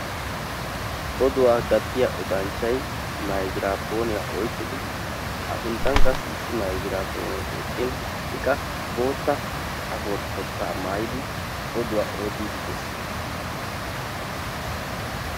oduwa gattiya odanchay micraaphooniya oyqidi ika qa bootaa a achan wotin oduwa odiidi dees.